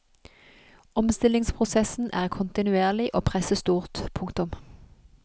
Omstillingsprosessen er kontinuerlig og presset stort. punktum